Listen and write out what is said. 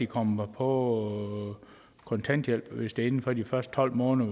kommer på kontanthjælp altså hvis det er inden for de første tolv måneder